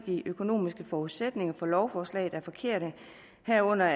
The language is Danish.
de økonomiske forudsætninger for lovforslaget er forkerte herunder